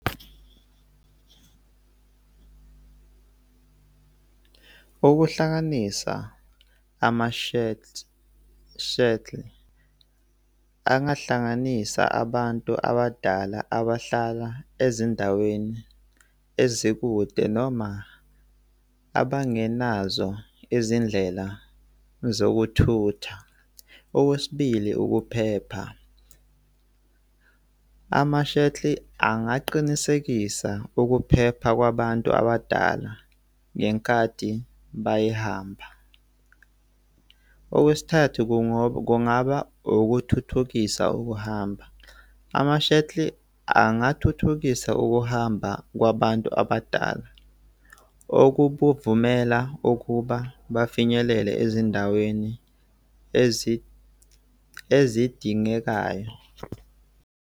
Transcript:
Ukuhlanganisa amashethi, shuttle angahlanganisa abantu abadala abahlala ezindaweni ezikude noma abangenazo izindlela zokuthutha. Okwesibili, ukuphepha. Ama-shuttle angaqinisekisa ukuphepha kwabantu abadala ngenkathi bayehamba. Okwesithathu, kungaba ukuthuthukisa ukuhamba. Ama-shuttle angathuthukisa ukuhamba kwabantu abadala, okubuvumela ukuba bafinyelele ezindaweni ezidingekayo.